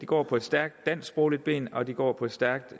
går på et stærkt dansksprogligt ben og den går på et stærkt